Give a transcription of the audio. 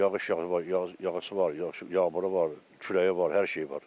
Yağış var, yağış yağmuru var, küləyi var, hər şeyi var.